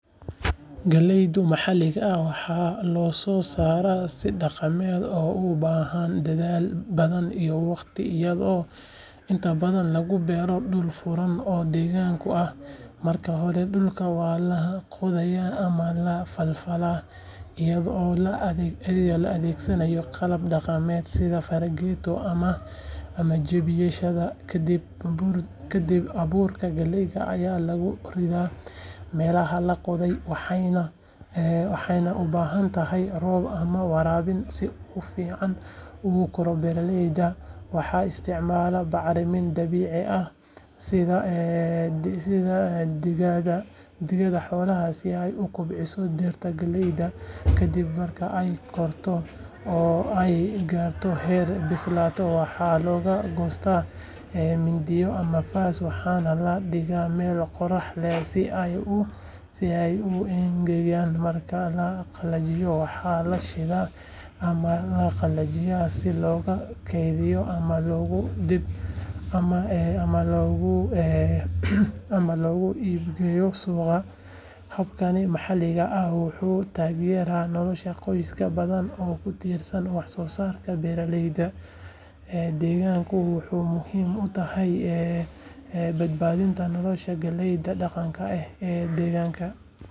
Galleyda maxaliga ah waxaa loo soo saaraa si dhaqameed oo u baahan dadaal badan iyo waqti iyadoo inta badan lagu beero dhul furan oo deegaanka ah marka hore dhulka waa la qodayaa ama la falfalaa iyadoo la adeegsanayo qalab dhaqameed sida fargeetada ama jabiyeyaasha kadib abuurka galleyda ayaa lagu ridaa meelaha la qoday waxayna u baahan tahay roob ama waraabin si uu si fiican u koro beeralayda waxay isticmaalaan bacrimin dabiici ah sida digada xoolaha si ay u kobciso dhirta galleyda kadib marka ay korto oo ay gaarto heer bislaansho waxaa lagu goostaa mindiyo ama faas waxaana la dhigaa meel qorrax leh si ay u engegaan marka la qalajiyo waxaa la shiidaa ama la qalajiyaa si loogu kaydiyo ama loogu iib geeyo suuqyada habkan maxaliga ah wuxuu taageeraa nolosha qoysas badan oo ku tiirsan wax soo saarka beeralayda deegaanka wuxuuna muhiim u yahay badbaadinta noocyada galleyda dhaqanka ah ee deegaanka.